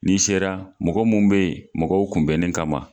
N'i sera mɔgɔ mun be yen mɔgɔw kunbɛnnin kama